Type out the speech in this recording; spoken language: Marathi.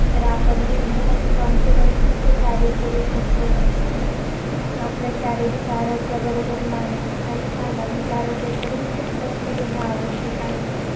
तर आपण बिनधास्त confidence ने ते कार्य करू शकतो. आपल्या शारीरिक आरोग्याबरोबर, मानसिक आणि सामाजिक आरोग्याकडेही खूप लक्ष देणं आवश्यक आहे.